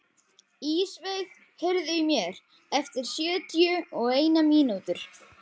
Ísveig, heyrðu í mér eftir sjötíu og eina mínútur.